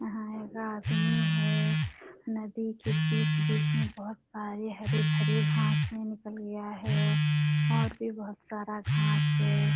यहाँ एगो आदमी है नदी के बीच-बीच में बहोत सारे हरे-भरे घास है निकल गया है और भी बहोत सारा घास है।